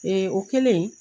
Ee o kɛlen